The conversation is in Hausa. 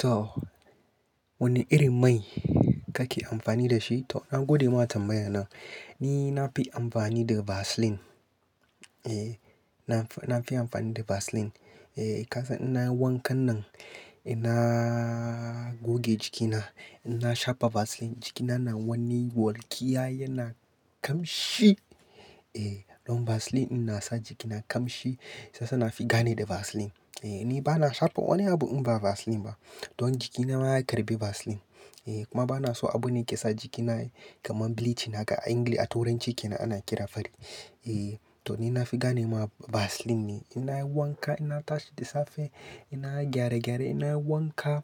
To, wane irin mai kake amfani da shi? To, na gode ma tambaya nan. Ni na fi amfani da Vaseline. Eh, na fi amfani da Vaseline. Eh, ka san ina yi wankan nan, ina goge jikina, ina shafa Vaseline jikina na wanni walƙiya yana kamshi. Eh, don Vaseline in na sa jikina kamshi sasa na fi gane da Vaseline. Eh, ni ba na shafa wani abu in ba Vaseline ba. Don jikina ma ya karɓi Vaseline. Eh, kuma ba na so abu ne ke sa jikina kamar bleaching haka a engli a tauranci ke nan ana kira fari. Eh, to ni na fi gane ma Vaseline ne. Ina yi wanka ina tashi da safe ina gyare gyare ina yi wanka,